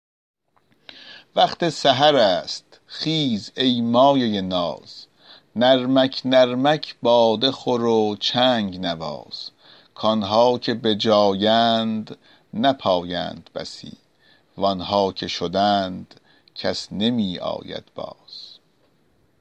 وقت سحر است خیز ای مایه ناز نرمک نرمک باده خور و چنگ نواز کآنها که به جایند نپایند بسی وآنها که شدند کس نمی آید باز